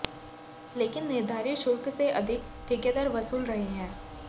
लेकिन निर्धारित शुल्क से अधिक ठीकेदार वसूल रहे हैं